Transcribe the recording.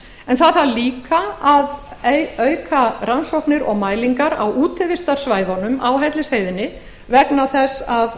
hellisheiðarvirkjun það þarf líka að auka rannsóknir og mælingar á útivistarsvæðunum á hellisheiðinni vegna þess að